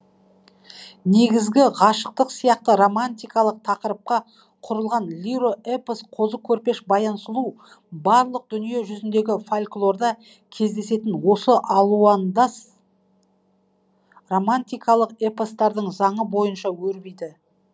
негізгі ғашықтық сияқты романтикалық тақырыпқа құрылған лиро эпос қозы көрпеш баян сұлу барлық дүние жүзіндегі фольклорда кездесетін осы алуандас романтикалық эпостардың заңы бойынша өрбиді